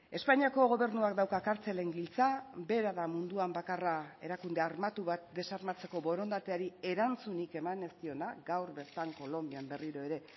espainiako gobernuak dauka kartzelen giltza bera da munduan bakarra erakunde armatu bat desarmatzeko borondateari erantzunik eman ez diona gaur bertan kolonbian berriro ere